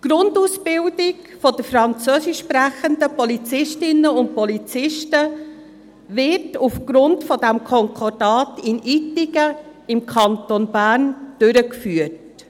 Die Grundausbildung der Französisch sprechenden Polizistinnen und Polizisten wird aufgrund dieses Konkordats in Ittigen, im Kanton Bern, durchgeführt.